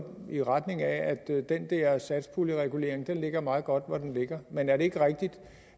i retning af at den der satspuljeregulering ligger meget godt hvor den ligger men er det ikke rigtigt